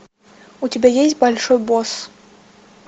у тебя есть большой босс